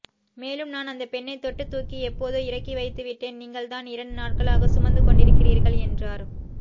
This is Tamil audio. மேலும் நான்அந்தப் பெண்ணை தொட்டுத் தூக்கி எப்போதோ இறக்கிவைத்து விட்டேன் நீங்கள் தான் இரண்டு நாட்களாக சுமந்துக் கொண்டிருக்கிறீர்கள் என்றார்